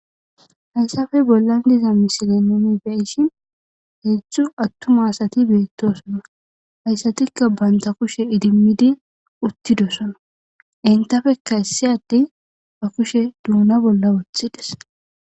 hayssafe bollan diza misilአ gidon beishin heedztdzu attum aasati beettosona hayssatikka banta kushe idimmidi uttidosona intafekka issi adde ba kushe duuna bolla woothides